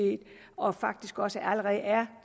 og faktisk også allerede er